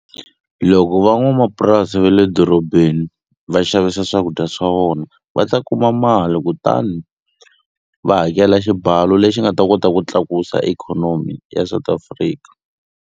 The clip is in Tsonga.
Loko van'wamapurasi ve le dorobeni va xavisa swakudya swa vona va ta kuma mali kutani va hakela xibalo lexi nga ta kota ku tlakusa ikhonomi ya South Africa.